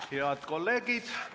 Head kolleegid!